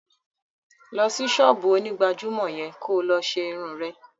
Lọ sí ṣọ́ọ́bù onígbàjámọ̀ yẹn kó lọ ṣe irun rẹ!